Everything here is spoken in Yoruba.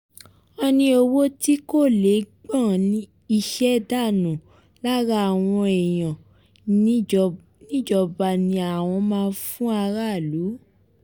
ó ní owó tí kò lè gbọ́n iṣẹ́ dànù lára àwọn èèyàn níjọba ni àwọn máa fún aráàlú